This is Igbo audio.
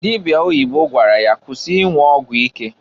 Dịbịa oyibo gwara ya, "kwụsị ịnwụ ọgwụ ike!"